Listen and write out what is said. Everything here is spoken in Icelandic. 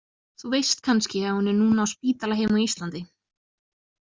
Þú veist kannski að hún er núna á spítala heima á Íslandi?